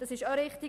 Das ist richtig.